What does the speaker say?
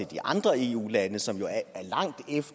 de andre eu lande som jo